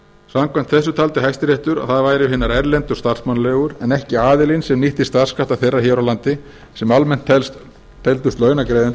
samkvæmt þessu taldi hæstiréttur að það væru hinar erlendu starfsmannaleigur en ekki aðilinn sem nýtti starfskrafta þeirra hér á landi sem almennt teldust launagreiðendur